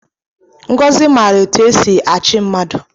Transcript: Ngozi mara etu e si achị mmadụ